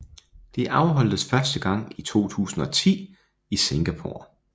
Det afholdtes første gang i 2010 i Singapore